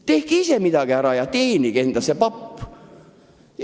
Tehke ise midagi ära ja teenige endale see papp!